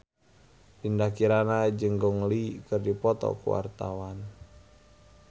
Dinda Kirana jeung Gong Li keur dipoto ku wartawan